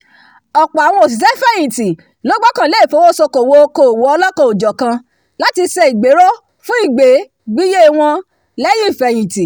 ọ̀pọ̀ àwọn òṣìṣẹ́- fẹ̀yìntì ló gbọ́kànlé ìfowósókòwò okòwò ọlọ́kan-ò-jọ̀kan láti ṣe ìgbéró fún ìgbé- wọn lẹ́yìn ìfẹ̀yìntì